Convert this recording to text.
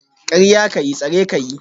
Karya ka yi, tsare ka yi